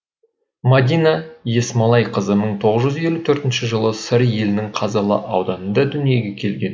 мадина есмалайқызы мың тоғыз жүз елу төртінші жылы сыр елінің қазалы ауданында дүниеге келген